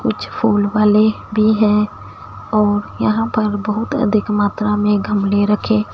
कुछ फूल वाले भी है और यहां पर बहुत अधिक मात्रा में गमले रखे--